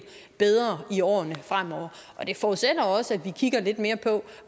bedre i årene fremover og det forudsætter også at vi kigger lidt mere på